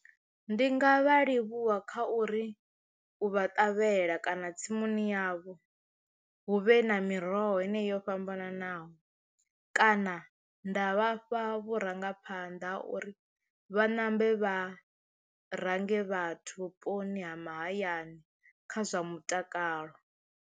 Ndi nga vha livhuwa kha uri u vha ṱavhela kana tsimuni yavho hu vhe na miroho heneyi yo fhambananaho kana nda vhafha vhurangaphanḓa ha uri vha ṋambe vha range vhathu vhuponi ha mahayani kha zwa mutakalo.